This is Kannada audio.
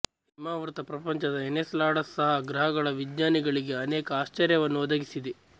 ಹಿಮಾವೃತ ಪ್ರಪಂಚದ ಎನ್ಸೆಲಾಡಸ್ ಸಹ ಗ್ರಹಗಳ ವಿಜ್ಞಾನಿಗಳಿಗೆ ಅನೇಕ ಆಶ್ಚರ್ಯವನ್ನು ಒದಗಿಸಿದೆ